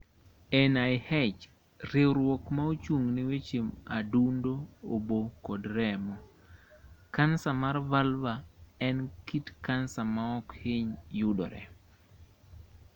NIH: Riwruok ma ochung ne weche adundo, obo kod remo. Kanser mar vulva en kit kansa ma ok hiny yudore.